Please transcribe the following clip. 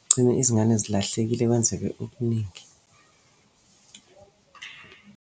Kugcine izingane zilahlekile kwenzeke okuningi.